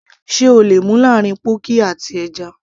sé o le mú láàrín pọ́ọ̀kì àti ẹja